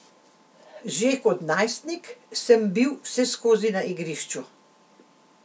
Že kot najstnik sem bil vseskozi na igrišču.